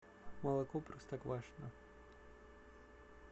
молоко простоквашино